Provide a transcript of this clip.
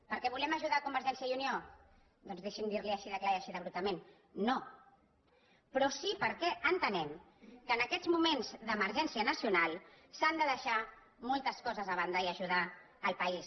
perquè volem ajudar convergència i unió doncs deixi’m dir li ho així de clar i així abruptament no però sí perquè entenem que en aquests moments d’emergència nacional s’han de deixar moltes coses a banda i ajudar el país